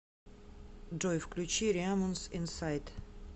джой включи реамон с инсайд